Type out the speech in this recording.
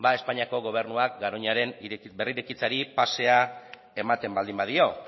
espainiako gobernuak garoñaren berrirekitzeari pasea ematen baldin badio